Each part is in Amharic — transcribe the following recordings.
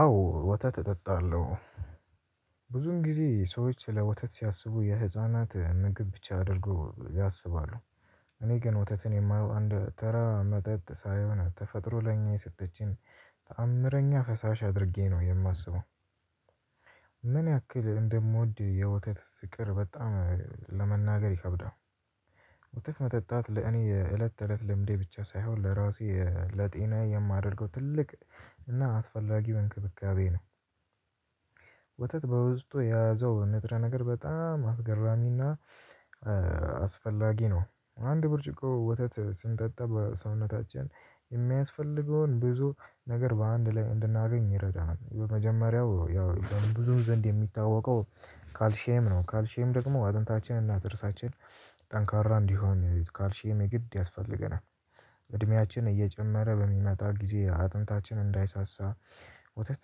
አዎ ወተት እጠጣለሁ ብዙውን ጊዜ ሰዎች ስለ ወተት ሲያስቡ የህፃናት ምግብ ብቻ አድርገው ያሰባሉ። እኔ ግን ወተትን የማየው እንደ ተራ መጠጥ ሳይሆን ተፈጥሮ ለእኛ የሰጠችን ተአምረኛ ፈሳሽ አድርጌ ነው የማስበው። ምን ያክል እንደምወድ የወተት ፍቅር በጣም ለመናገር ይከብዳል። ወተት መጠጣት ለእኔ የእለት ተእለት ልምዴ ብቻ ሳይሆን ለራሴ ለጤናዬ የማደርገው ትልቅ እና አስፈላጊው እንክብካቤ ነው። ወተት በውስጡ የያዘው ንጥረ ነገር በጣም አስገራሚ እና አስፈላጊ ነው። አንድ ብርጭቆ ወተት ስንጠጣ በሰውነታችን የምያስፈልገውን ብዙ ነገር በአንድ ላይ እንድናገኝ ይረዳናል። የመጀመሪያው ያው በብዙም ዘንድ የሚታወቀው ካልሽየም ነው ካልሽየም ደግሞ አጥንታችንና ጥርሳችን ጠንካራ እንዲሆን ካልሽየም የግድ ያስፈልገናል እድሜያችን እየጨመረ በሚመጣ ጊዜ አጥንታችን እንዳይሳሳ ወተት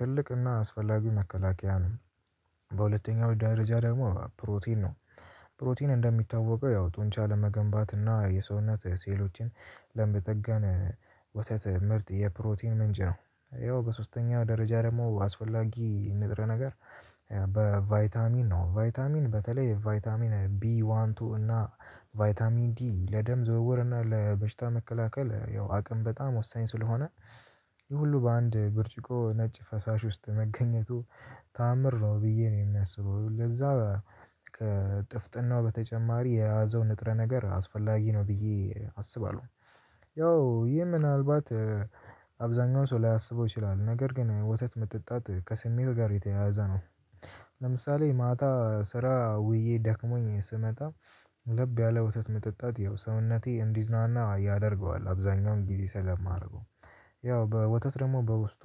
ትልቅ እና አስፈላጊ መከላከያ ነው። በሁለተኛው ደረጃ ደግሞ ፕሮቲን ነው። ፕሮቲን እንደሚታወቀው ያው ጡንቻ ለመገንባት እና የሰውነት ሴሎችን ለመጠገን ምርጥ የፕሮቲን ምንጭ ነው። ያው በሶስተኛው ደረጃ ደግሞ አስፈላጊ ንጥረ ነገር በቫይታሚን ነው ቫይታሚን በተለይ ቫይታሚን ቢ ዋን ቱ እና ቫይታሚን ዲ ለደም ዝውውር እና ለበሽታ መከላከል ያው አቅም በጣም ወሳኝ ስለሆነ። ይህ ሁሉ በአንድ ብርጭቆ ነጭ ፈሳሽ ውስጥ መገኘቱ ተአምር ነው ብዬ ነው የማስበው። ለዛ ከ ጥፍጥናው በተጨማሪ የያዘው ንጥረ ነገር አስፈላጊ ነው ብዬ አስባለሁ። ያው ይህ ምናልባት አብዛኛው ሰው ላያሰበው ይችላል ነገር ግን ወተት መጠጣት ከስሜት ጋር የተያያዘ ነው። ለምሳሌ ማታ ስራ ውዬ ደክሞኝ ስመጣ ለብ ያለ ወተት መጠጣት ይኸው ሰውነቴ እንዲዝናና ያደርገዋል አብዛኛውን ጊዜ ስለማደርገው። ያው ወተት ደግሞ በውስጡ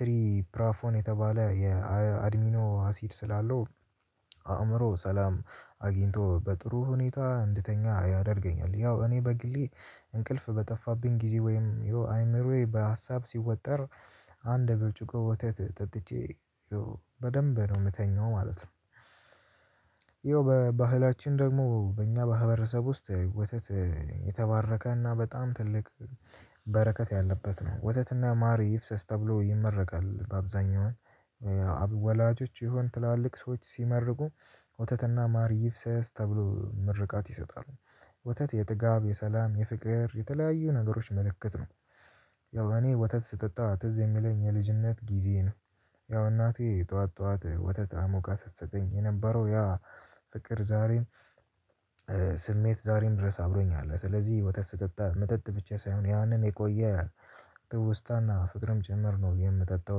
ትሪፕራፎን የተባለ የአድሚኖ አሲድ ስላለው አእምሮ ሰላም አግኝቶ በጥሩ ሁኔታ እንድተኛ ያደርገኛል። ያው እኔ በግሌ እንቅልፍ በጠፋብኝ ጊዜ ወይም አእምሮዬ በሀሳብ ስወጠር አንድ በብርጭቆ ወተት ጠጥቼ በደንብ ነው የምተኛው ማለት ነው። ይኸው በባህላችን ደግሞ በእኛ ማህብረሰብ ውስጥ ወተት የተባረከና በጣም ትልቅ በረከት ያለበት ነው ወተትና ማር ይፍሰስ ተብሎ ይመረቃል። በአብዛኛው አብዛኛው ወላጆች ይሁን ትላልቅ ሰዎች ሲመርቁ ወተትና ማር ይፍሰስ ተብሎ ምርቃት ይሰጣሉ። ወተት የጥጋብ የሰላም የፍቅር የተለያዩ ነገሮች ምልክት ነው። ያው እኔ ወተት ስጠጣ ትዝ የሚለኝ የልጅነት ጊዜዬ ነው። ያው እናቴ ጠዋት ጠዋት ወተት አሙቃ ስትሰጠኝ የነበረው ያ ፍቅር ዛሬም ስሜት ዛሬም ድረስ አብሮኝ አለ። ስለዚህ ወተት ስጠጣ መጠጥ ብቻ ሳይሆን ያንን የቆየ ትዉስታ እና ፍቅርም ጭምር ነው የምጠጣው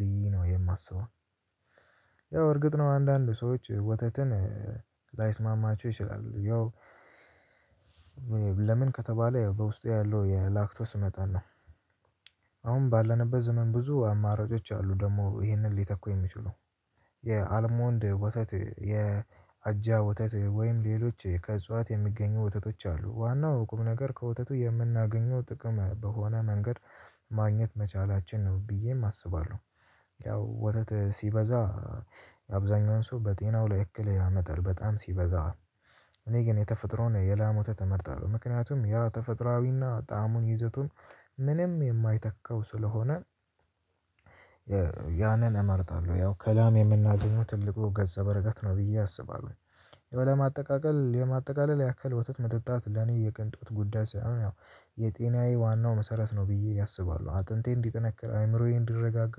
ብዬ ነው የማስበው። ያው እርግጥ ነው አንዳንድ ሰዎች ወተት ላይስማማቸው ይችላል ያው ለምን ከተባለ በውስጡ ያለው የላክቶስ መጠን ነው። አሁን ባለንበት ዘመን ብዙ አማራጮች አሉ ደግሞ ይሄንን ሊተኩ የሚችሉ የአለሞንድ ወተት የአጃ ወተት ወይም ሌሎች ከእጽዋት የሚገኙ ወተቶች አሉ ዋናው ቁም ነገር ከወተቱ የምናገኘው ጥቅም በሆነ መንገድ ማግኘት መቻላችን ነው ብዬም አስባለሁ። ያው ወተት ሲበዛ አብዛኛውን ሰው በጤናው ላይ እክል ያመጣል በጣም ሲበዛ እኔ ግን የተፈጥሮን የላም ወተት እመርጣለሁ ምክንያቱም ያ ተፈጥሮአዊና ጣዕሙን ይዘቱን ምንም የማይተካው ስለሆነ። ያንን እመርጣለሁ ያው ከላም የምናገኘው ትልቁ ገፀ በረከት ነው ብዬ አስባለሁኝ። ለማጠቃቀል ለማጠቃለል ያክል ወተት መጠጣት ለኔ የቅንጦት ጉዳይ ሳይሆን ያው የጤናዬ ዋናው መሰረት ነው ብዬ አስባሉ አጥንቴ እንዲጠነክር አይምሮዬ እንዲረጋጋ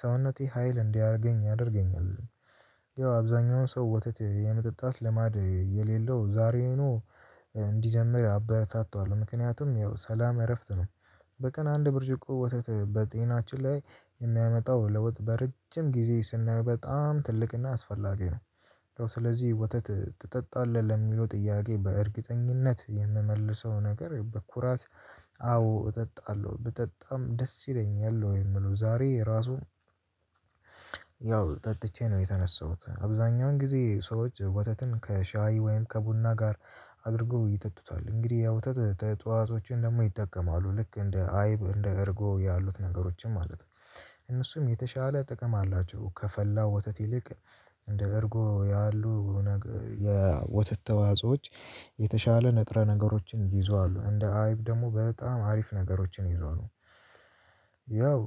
ሰውነቴ ሀይል እንዲያገኝ ያደርገኛል። ያው አብዛኛው ሰው ወተት የመጠጣት ልማድ የሌለው ዛሬውኑ እንዲጀምር አበረታተዋለሁ ምክንያቱም ያው ሰላም እረፍት ነው። በቀን አንድ ብርጅቆ ወተት በጤናችን ላይ የሚያመጣው ለውጥ በረጅም ጊዜ ስናየው በጣም ትልቅና አስፈላጊ ነው። ስለዚህ ወተት ትጠጣለህ ለሚለው ጥያቄ በእርግጠኝነት የምመልሰው ነገር በኩራት አ አዎ እጠጣለሁ ብጠጣም ደስ ይለኛል ነው የሚለው ዛሬ ራሱ። ያው ጠጥቼ ነው የተነሳሁት አብዛኛውን ጊዜ ሰዎች ወተትን ከሻይ ወይም ከቡና ጋር አድርገው ይጠጡታል እንግዲህ ያው የወተት ተዋዕጾዎችን ደግሞ ይጠቀማሉ ልክ እንደ አይብ እንደ እርጎ ያሉት ነገሮችን ማለት ነው። እነሱም የተሻለ ጥቅም አላቸው ከፈላው ወተት ይልቅ። እንደ እርጎ ያሉ ነገ የወተት ተዋጽኦች የተሻለ ንጥረ ነገሮችን ይዟሉ እንደ አይብ ደግሞ በጣም አሪፍ ነገሮችን ይዟሉ። ያው